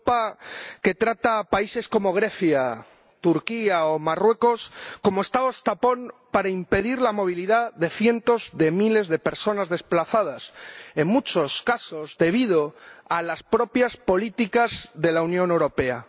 una Europa que trata a países como Grecia, Turquía o Marruecos como Estados tapón para impedir la movilidad de cientos de miles de personas desplazadas, en muchos casos, debido a las propias políticas de la Unión Europea.